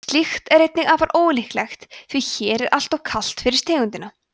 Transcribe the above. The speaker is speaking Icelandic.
slíkt er einnig afar ólíklegt því hér er alltof kalt fyrir tegundina